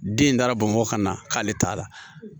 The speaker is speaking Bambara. Den in taara bamakɔ ka na k'ale t'a la